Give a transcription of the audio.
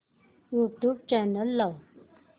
YouTube channel लाव